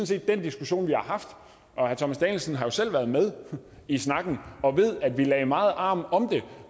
set den diskussion vi har haft og herre thomas danielsen har jo selv været med i snakken og ved at vi lagde meget arm om det